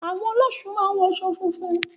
Àwọn ọlọ́ṣun máa ń wọṣọ funfun.